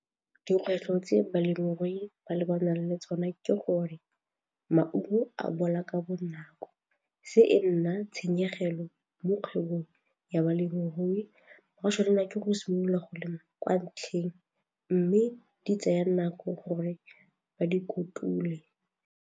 Dikgwetlho tse balemirui ba lebanang le tsone ke gore maungo a bola ka bonako, se e nna tshenyegelo mo kgwebong ya balemirui, ba tshwanela ke go simolola go lema kwa ntlheng mme di tsaya nako gore ba di kotule.